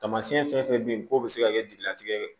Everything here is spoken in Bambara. Taamasiyɛn fɛn fɛn bɛ yen k'o bɛ se ka kɛ jeliya tigi ye